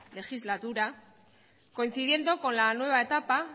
legislatura coincidiendo con la nueva etapa